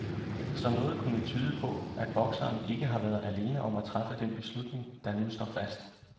Så noget kunne tyde på, at bokseren ikke har været alene om at træffe den beslutning, der nu står fast.